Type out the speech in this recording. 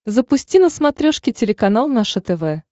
запусти на смотрешке телеканал наше тв